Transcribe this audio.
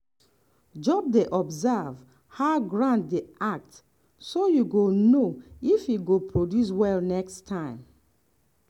just dey observe how ground dey act so you go know if e go produce well next time.